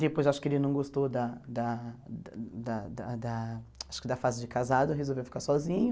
Depois, acho que ele não gostou da da da da da acho que da fase de casado, resolveu ficar sozinho.